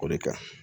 O de ka ɲi